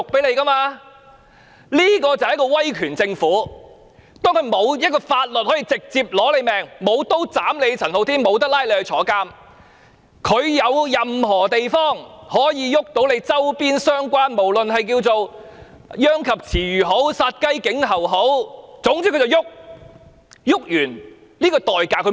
這就是一個威權政府，當它無法運用任何法律直接對付陳浩天，沒法拘捕、監禁他，便運用任何手段教訓他周邊相關的人，可說是殃及池魚或殺雞儆猴，而不考慮教訓完後的代價。